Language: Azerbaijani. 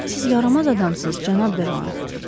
Siz yaramaz adamsız, Cənab Deroan.